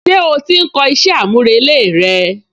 Ṣé ó ti ń kọ iṣẹ́ àmúrelé rẹ?